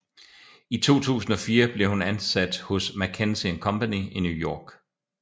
I 2004 blev hun ansat hos McKinsey and Company i New York